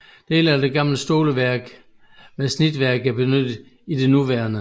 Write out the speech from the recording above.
Dele af det gamle stoleværk med snitværk er benyttet i det nuværende